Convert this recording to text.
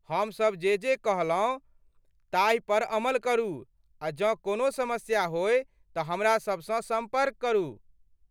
हमसब जे जे कहलहुँ ताहि पर अमल करू आ जँ कोनो समस्या होय तँ हमरासबसँ सम्पर्क करू।